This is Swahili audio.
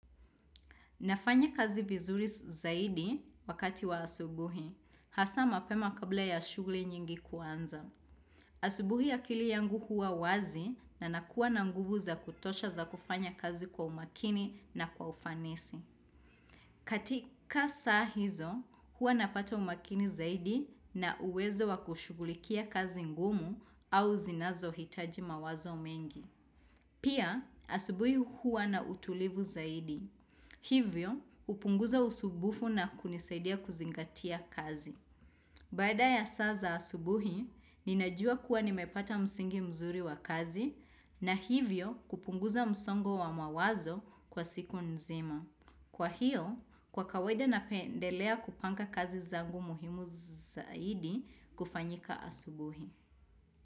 Nafanya kazi vizuri zaidi wakati wa asubuhi, hasa mapema kabla ya shughuli nyingi kuanza. Asubuhi akili yangu huwa wazi na nakuwa na nguvu za kutosha za kufanya kazi kwa umakini na kwa ufanisi. Katika saa hizo, huwa napata umakini zaidi na uwezo wa kushughulikia kazi ngumu au zinazohitaji mawazo mengi. Pia, asubuhi huwa na utulivu zaidi. Hivyo, hupunguza usubufu na kunisaidia kuzingatia kazi. Baada ya saa za asubuhi, ninajua kuwa nimepata msingi mzuri wa kazi na hivyo kupunguza msongo wa mawazo kwa siku nzima. Kwa hiyo, kwa kawaida napendelea kupanga kazi zangu muhimu zaidi kufanyika asubuhi.